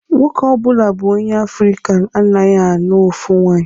Nwoke ọbụla bụ onye Afrịka anaghị anụ ofu nwaanyi.